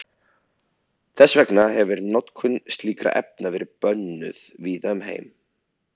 Þess vegna hefir notkun slíkra efna verið bönnuð víða um heim.